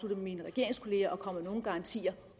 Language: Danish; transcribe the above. med mine regeringskolleger og kommer med nogen garantier